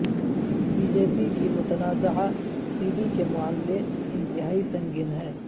be J P کی متنازعہ C D کے معاملے انتہائی سنگین ہے